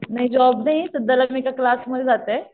नाही जॉब नाही क्लासमध्ये जाते.